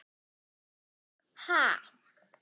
Eva: Ha?